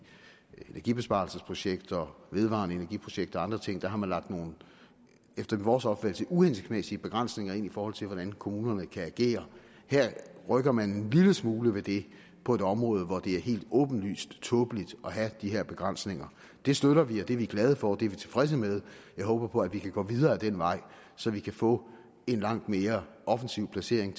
energibesparelsesprojekter vedvarende energiprojekter og andre ting der har man efter vores opfattelse uhensigtsmæssige begrænsninger ind i forhold til hvordan kommunerne kan agere her rykker man en lille smule ved det på et område hvor det er helt åbenlyst tåbeligt at have de her begrænsninger det støtter vi og det er vi glade for det er vi tilfredse med jeg håber at vi kan gå videre ad den vej så vi kan få en langt mere offensiv placering